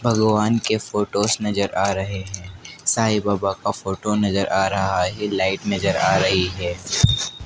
भगवान के फोटोस नज़र आ रहे हैं साईं बाबा का फोटो नज़र आ रहा है लाइट नज़र आ रही है।